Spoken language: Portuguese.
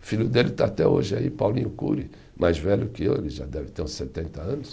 filho dele está até hoje aí, Paulinho Cury, mais velho que eu, ele já deve ter uns setenta anos.